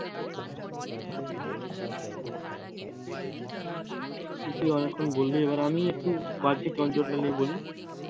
তুই অনেকক্ষণ বললি, আমি এবার একটু বাহ্যিক অঞ্চলটা নিয়ে বলি?